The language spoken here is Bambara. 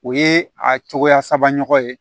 O ye a cogoya saba ɲɔgɔn ye